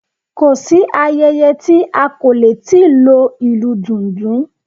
Kò sí ayẹyẹ tí a kò lè ti lo ìlú dùndún